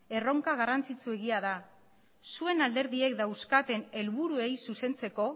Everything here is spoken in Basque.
erronka garrantzitsuegia da zuen alderdiek dauzkaten helburuei zuzentzeko